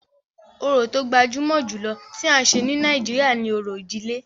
Orò tó gbajúmọ̀ jùlọ tí à ń ṣe ní Nàìjíríà ni òrò ìdílé.